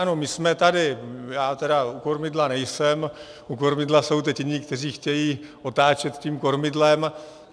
Ano, my jsme tady - já tedy u kormidla nejsem, u kormidla jsou teď jiní, kteří chtějí otáčet tím kormidlem.